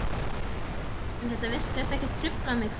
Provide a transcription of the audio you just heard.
En þetta virtist ekki trufla mig.